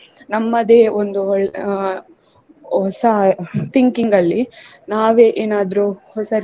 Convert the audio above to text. ನಮ್ಮದೇ ಒಂದು ಒಳ್~ ಅಹ್ ಹೊಸ thinking ಅಲ್ಲಿ ನಾವೇ ಏನಾದ್ರು ಹೊಸ.